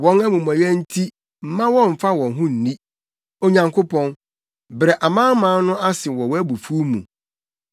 Wɔn amumɔyɛ nti mma wɔmmfa wɔn ho nni; Onyankopɔn, brɛ amanaman no ase wɔ wʼabufuw mu.